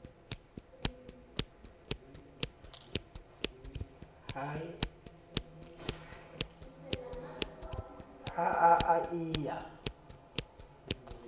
ha eo a e ya